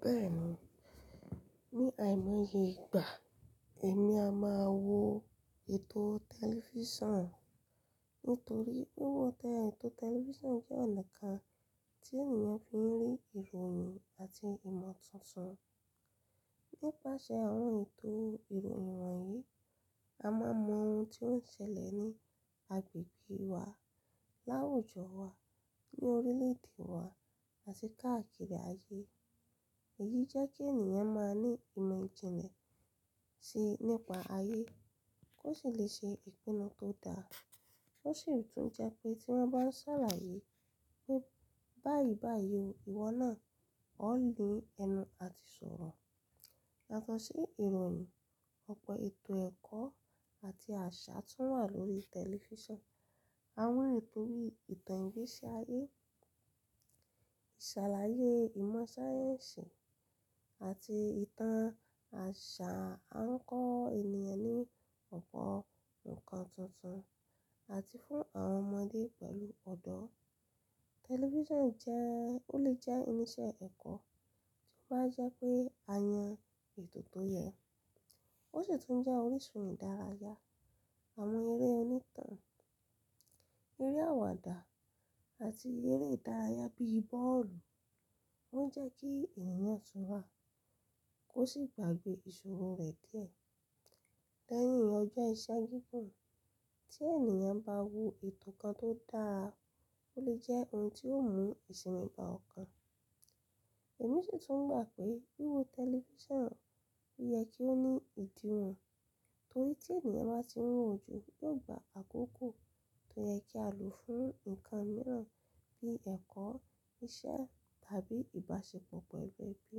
Bẹ́ẹ̀ni, ní àìmọye ìgbà, èmi a máa wo ètò tẹlifísàn. Nítorí wíwo ètò tẹlifísàn jẹ́ ọ̀nà kan tí ènìyàn fi ń rí ìròyìn àti ìmọ̀ tuntun. Nípasẹ̀ àwọn ètò ìròyìn wọ̀nyí, a máa mọ ohun tí ó ń ṣẹlẹ̀ ní agbègbè wa, láwùjọ wa, ní orílè-èdè wa àti káàkiri ayé. Èyí jẹ́ kí ènìyàn máa ní ìmọ̀ ìjìnlẹ̀ sí nípa ayé kó sì lè ṣe ìpinnu tó dára. Ó sì tún jẹ pé tí wọ́n bá ń ṣàlàyé pé báyìí báyìí ìwọ náà ó lè ẹnu àti ṣòrò. Yato si ìròyìn, ọ̀pọ̀ ètò ẹ̀kọ́ àti àṣà tun wà lórí tẹlifísàn. Awon éto yi ni ìtàn igbeṣi ayé, sàlàyé ìmọ̀ sáyẹ́ǹsì àti ìtàn àṣà a ń kọ́ ènìyàn ní ọ̀pọ̀ ǹkan tuntun àti fún àwọn ọmọdé pẹ̀lú ọ̀dọ́. Tẹlifísàn jẹ́, ó lè jẹ́ irinṣẹ́ ẹ̀kọ́ tó máa jẹ́ pé a yan ètò tó yẹ. Ó sì tún jẹ́ orísun ìdárayá. Àwọn eré onítàn, eré àwàdà àti eré ìdárayá bíi bọ́ọ̀lù. Wọ́n jẹ́ kí ènìyàn túrà kó sì gbàgbé ìṣòro rẹ̀ díẹ̀ lẹ́yìn ọjọ́ iṣẹ́ gígùn. Tí ènìyàn bá wo ètò kan tó dára, ó lè jẹ́ ohun tí ó mú ìsimi ba ọ̀kan. Èmi sì tún gbà pé wíwo tẹlifísàn yẹ kí ó ní ìdíwọ̀n. Torí tí ènìyàn bá ti wò ju yóò gba àkókò tó yẹ kí a lò fún nǹkan mìíràn bíi ẹ̀kọ́, iṣẹ́ tàbí ìbáṣepọ̀ pẹ̀lú ẹbí.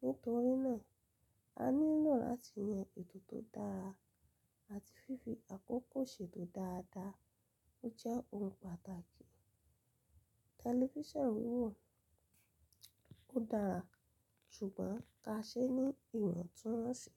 Nítorí náà, a nílò láti yan ètò tó dára àti fífi àkókò ṣètò dáadáa. Ó jẹ́ ohun pàtàkì. Tẹlifísàn wiwò, ó dára ṣùgbọ́n ka ṣe ní ìwọ̀n tí wọ́n ṣe.